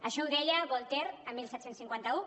això ho deia voltaire el disset cinquanta u